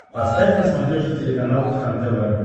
поставь на смотрешке телеканал кхлм тв